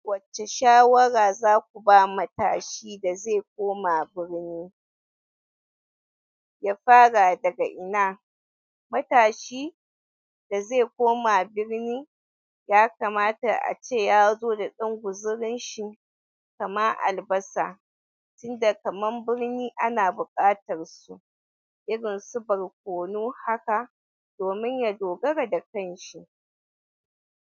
Wacce shawara za ku ba matashi da zai koma birni ya fara daga ina? Matashi da zai koma birni, yakamata ace ya zo da ɗan guzirin shi. Kaman albasa, tunnda kaman birni ana buƙatar su irin su barkono haka domin ya dogara da kanshi.